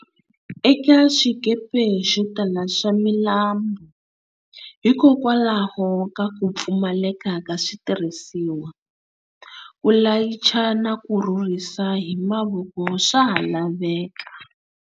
Eka xikepe xotala xa milambu, hikokwalaho ka ku pfumaleka ka switirhisiwa, ku layicha na ku rhurhisa hi mavoko swaha laveka.